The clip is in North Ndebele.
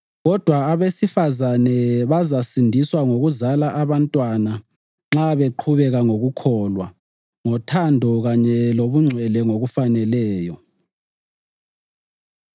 Kodwa abesifazane bazasindiswa ngokuzala abantwana nxa beqhubeka ngokukholwa, ngothando kanye lobungcwele ngokufaneleyo.